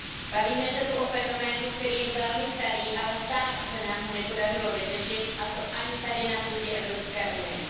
Bavíme se tu o fenoménu, který je velmi starý, ale stále se nám ho nepodařilo vyřešit, a to ani tady, na půdě Evropské unie.